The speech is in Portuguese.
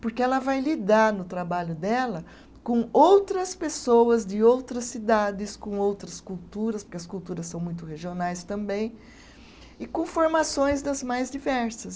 Porque ela vai lidar no trabalho dela com outras pessoas de outras cidades, com outras culturas, porque as culturas são muito regionais também, e com formações das mais diversas.